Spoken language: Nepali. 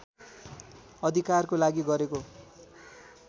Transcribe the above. अधिकारको लागि गरेको